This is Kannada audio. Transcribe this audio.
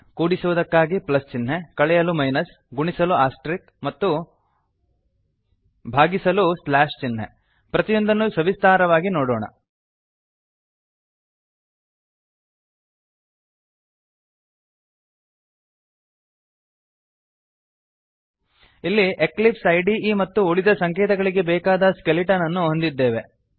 ಕೂಡಿಸುವುದಕ್ಕಾಗಿ ಪ್ಲಸ್ ಚಿಹ್ನೆ ಕಳೆಯಲು ಮೈನಸ್ ಗುಣಿಸಲು ಆಸ್ಟೆರಿಕ್ ಮತ್ತು ಭಾಗಿಸಲು ಸ್ಲ್ಯಾಶ್ ಚಿಹ್ನೆ ಪ್ರತಿಯೊಂದನ್ನು ಸವಿಸ್ತಾರವಾಗಿ ನೋಡೋಣ ಇಲ್ಲಿ ಎಕ್ಲಿಪ್ಸ್ ಐಡಿಇ ಮತ್ತು ಉಳಿದ ಸಂಕೇತಗಳಿಗೆ ಬೇಕಾದ ಸ್ಕೆಲಿಟನ್ ಅನ್ನು ಹೊಂದಿದ್ದೇವೆ